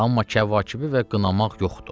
Amma Kəvakibi qınamaq yoxdur.